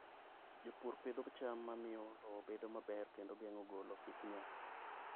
Jopur pidho cham ma miyo lowo bedo maber kendo geng'o ogolo kik nya.